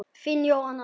Þín, Jóhanna Sif.